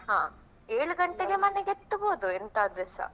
ಹಾ ಏಳು ಗಂಟೆಗೆ ಮನೆಗೆ ಎತ್ಬಹುದು ಎಂತದ್ರೆಸ.